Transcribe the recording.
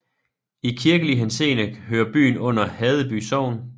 I kirkelig henseende hører byen under Haddeby Sogn